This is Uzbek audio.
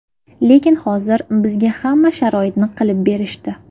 Lekin hozir bizga hamma sharoitni qilib berishdi.